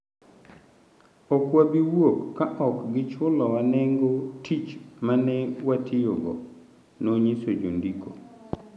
Ok wabi wuok ka ok gichulowa nengo tich ma ne watiyogo", nonyiso jondiko.